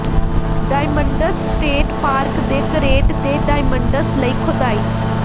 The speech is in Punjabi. ਡਾਇਮੰਡਸ ਸਟੇਟ ਪਾਰਕ ਦੇ ਕਰੇਟ ਤੇ ਡਾਇਮੰਡਸ ਲਈ ਖੋਦਾਈ